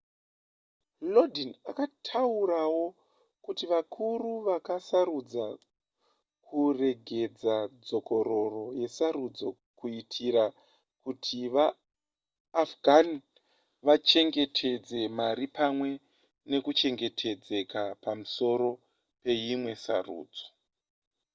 lodin akataurawo kuti vakuru vakasarudza kuregedza dzokororo yesarudzo kuitira kuti vaafghan vachengetedze mari pamwe nekuchengetedzeka pamusoro peimwe sarudzo